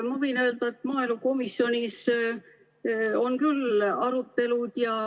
Ma võin öelda, et maaelukomisjonis on küll arutelud.